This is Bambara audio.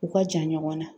U ka jan ɲɔgɔn na